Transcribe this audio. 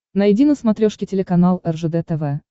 найди на смотрешке телеканал ржд тв